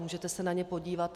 Můžete se na ně podívat.